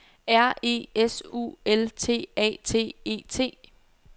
R E S U L T A T E T